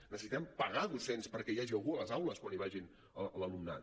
necessitem pagar docents perquè hi hagi algú a les aules quan hi vagi l’alumnat